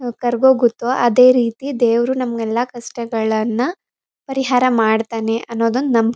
ಹ್ ಕರ್ಗೊಗತ್ತೋ. ಅದೇ ರೀತಿ ದೇವರು ನಮಗ್ ಎಲ್ಲ ಕಷ್ಟಗಳನ್ನ ಪರಿಹಾರ ಮಾಡ್ತಾನೆ ಅನ್ನದೊನ್ ನಂಬ್--